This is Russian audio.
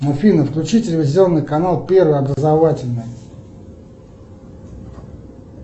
афина включи телевизионный канал первый образовательный